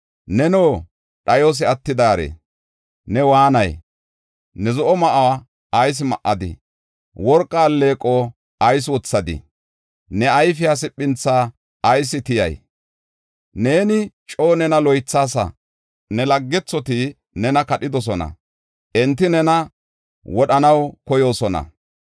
Neno, dhayos attidaare ne waanay? Ne zo7o ma7uwa ayis ma7adii? Worqa alleeqo ayis wothadii? Ne ayfiya siphintha ayis tiyay? Neeni coo nena loythaasa; ne laggethoti nena kadhidosona; enti nena wodhanaw koyoosona.